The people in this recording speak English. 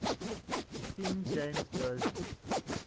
king james version